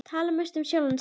Tala mest um sjálfan sig.